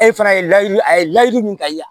E fana ye layiru a ye layiru min ka yan